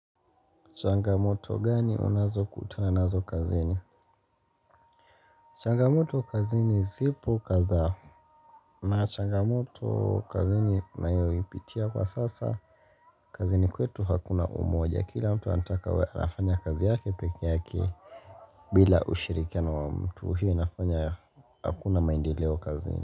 Changamoto gani unazo kutana nazo kazini changamoto kazini zipo kadhaa na changamoto kazini nayo ipitia kwa sasa kazini kwetu hakuna umoja kila mtu anataka afanya kazi yake peke yake bila ushirikia no wa mtu hii inafanya hakuna maendeleo kazini.